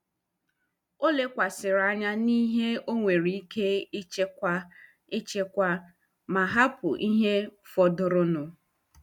Ọ lekwasịrị anya n'ihe ọ nwere ike ịchịkwa ịchịkwa ma hapụ ihe fọdụrụnụ.